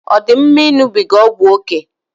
Ọ dị mma ịṅụbiga ọgwụ ókè?